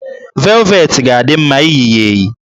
Velvetị ga-adị mma iyi ya eyi